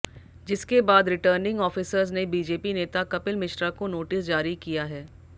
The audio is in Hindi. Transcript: जिसके बाद रिटर्निंग ऑफिसर्स ने बीजेपी नेता कपिल मिश्रा को नोटिस जारी किया है